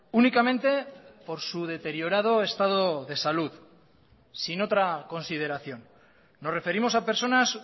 únicamente por su deteriorado estado de salud sin otra consideración nos referimos a personas